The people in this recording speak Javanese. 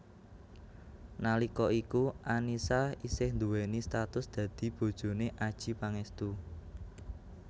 Nalika iku Annisa isih duwéni status dadi bojone Adjie Pangestu